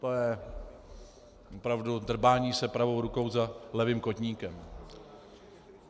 To je opravdu drbání se pravou rukou za levým kotníkem.